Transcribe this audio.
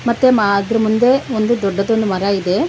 ಮತ್ತೆ ಮಾ ಅದ್ರ ಮುಂದೆ ಒಂದು ದೊಡ್ಡದೊಂದ ಮರಾ ಇದೆ.